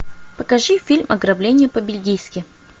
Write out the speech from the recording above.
покажи фильм ограбление по бельгийски